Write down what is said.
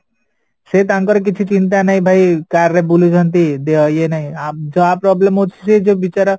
ସେ ତାଙ୍କର କିଛି ଚିନ୍ତା ନାହିଁ ଭାଇ car ରେ ବୁଲୁଛନ୍ତି ଇଏ ନାହିଁ ଆ ଯାହା problem ହଉଚି ସେ ଯୋଉ ବିଚରା